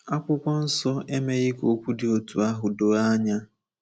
Akwụkwọ Nsọ emeghị ka okwu dị otú ahụ doo anya.